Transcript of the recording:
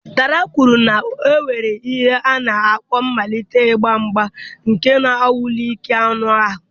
Dara kwuru na e nwere ihe a na-akpọ mmalite ịgba mgba nke na-anwale ike anụ ahụ.